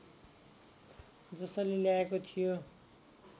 जसले ल्याएको थियो